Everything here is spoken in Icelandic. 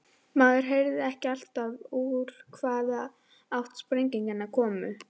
Maður heyrði ekki alltaf úr hvaða átt sprengingarnar komu.